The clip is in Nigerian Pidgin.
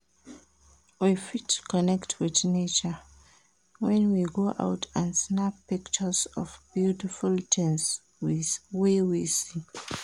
We fit connect with nature when we go out and snap pictures of beautiful things wey we see